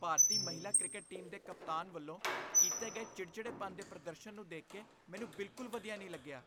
ਭਾਰਤੀ ਮਹਿਲਾ cricket team ਦੇ ਕਪਤਾਨ ਵੱਲੋਂ ਕੀਤੇ ਗਏ ਚਿੜਚਿੜੇਪਣ ਦੇ ਪ੍ਰਦਰਸ਼ਨ ਨੂੰ ਦੇਖ ਕੇ ਮੈਨੂੰ ਬਿਲਕੁਲ ਵਧੀਆ ਨਹੀਂ ਲੱਗਿਆ।